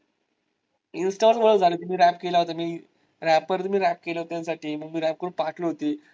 insta वर ओळख झ्हाली होती rap केला होता मी. rapper ने rap केलं होत त्यासाठी, मग मी rap करून पाठवली होती.